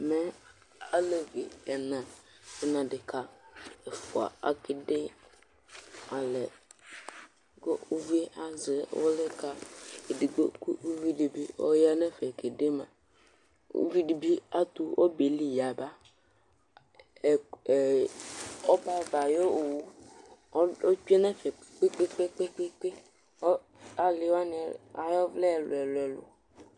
ɛmɛ alevi ɛna do no adeka ɛfua akede alɛ ko uvie azɛ uli ka edigbo kò uvi dibi ɔya n'ɛfɛ kede ma uvi dibi ato ɔbɛli yaba ɛ ɔbɛ ava ayi owu otsue n'ɛfɛ kpekpekpe kò ali wani ay'ɔvlɛ ɛlu ɛlu ɛlu